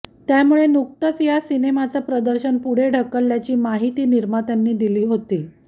त्यामुळे नुकतंच या सिनेमाचं प्रदर्शन पुढे ढकलल्याची माहिती निर्मात्यांनी दिली होती